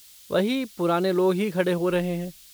वही पुराने लोग ही खड़े हो रहे हैं।